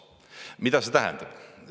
Mida see tähendab?